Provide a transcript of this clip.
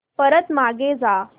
परत मागे जा